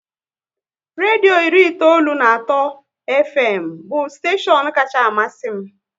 Redio iri itoolu na atọ Fm bụ steshion kacha amasị m